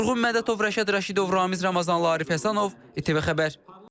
Vurğun Mədətov, Rəşad Rəşidov, Ramiz Ramazanlı, Arif Həsənov, ATV Xəbər.